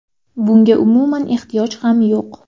Bunga umuman ehtiyoj ham yo‘q.